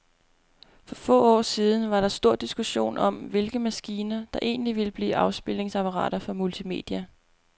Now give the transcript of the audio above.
For få år siden var der stor diskussion om, hvilke maskiner, der egentlig ville blive afspilningsapparater for multimedia.